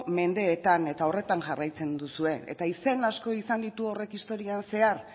mendeetan eta horretan jarraitzen duzue eta izen asko izan ditu horrek historian zehar